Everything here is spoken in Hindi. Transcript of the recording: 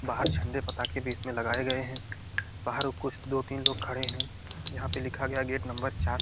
बाहर झंडे पताखे भी इसमें लगाए गए हैं बाहर कुछ दो तीन लोग खड़े हैं यहाँ पे लिखा गया है गेट नम्बर चार।